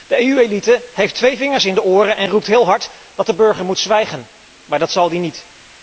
De EU elite heeft twee vingers in de oren en roept heel hard dat de burger moet zwijgen, maar dat zal hij niet.